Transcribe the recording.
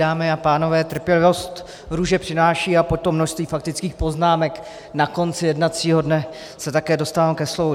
Dámy a pánové, trpělivost růže přináší a po tom množství faktických poznámek na konci jednacího dne se také dostávám ke slovu.